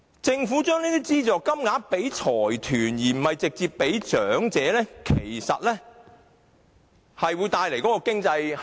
政府將資助交予財團而非直接交予長者，其實會浪費經濟效益。